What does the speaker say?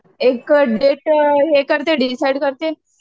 एक डेट हे करते डिसाईड करते.